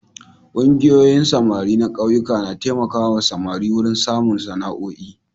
Ƙungiyoyin samari na ƙauyuka na taimaka samari wurin samun sana'oi.